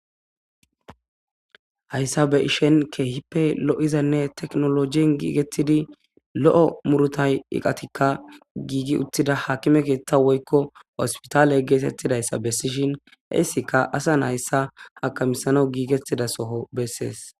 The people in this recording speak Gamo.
Hassan tabe ishen keehippe lo'izan teknolojien giigettidi lo7o murutay iqatikka giigi uttida haakime keetta woykko hospitaale geetettidayssa bessishin heyssika asan hayssa hakamisano giigettida soho bessees